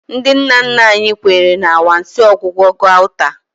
Ndị nna nna anyị kwenyere na anwansi ọgwụgwọ gauta.